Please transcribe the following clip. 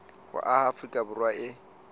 ho aha afrika borwa e